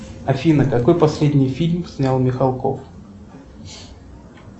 афина какой последний фильм снял михалков